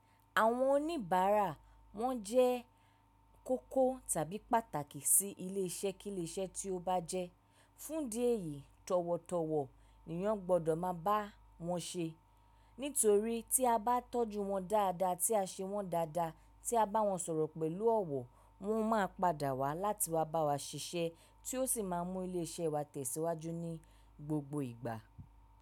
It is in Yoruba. Àwọn oníbàárà wọn jẹ́ kókó tàbí pàtàkì sí ilé-iṣẹ́ kíle ṣe tí ó bá jẹ́. Fún idí ẹ̀yìí, tọ̀wọ̀tọ̀wọ̀ nìyàn gbọ́dọ̀ máa bá wọn ṣe. Nítorí tí a bá tọ́jú wọn dáadáa, tí a ṣe wọ́n dáadáa, tí a bá wọn sọ̀rọ̀ pẹ̀lú ọ̀wọ̀, wọn máa padà wá láti wá bá wa ṣiṣẹ́ tí ó sì máa mú ilé iṣẹ́ wa tẹ̀síwájú ní gbogbo ìgbà.